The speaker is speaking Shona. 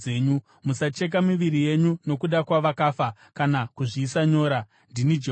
“ ‘Musacheka miviri yenyu nokuda kwavakafa kana kuzviisa nyora. Ndini Jehovha.